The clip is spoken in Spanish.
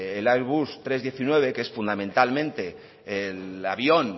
el airbus trescientos diecinueve que es fundamentalmente el avión